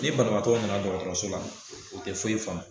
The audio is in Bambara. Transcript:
Nin banabaatɔ nana dɔgɔtɔrɔso la o tɛ foyi faamu.